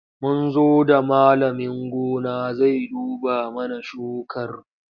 Mun zo da malamin gona zai duba mana shukarmu.